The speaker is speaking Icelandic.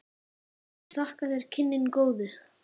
Ég þakka þér kynnin góðu.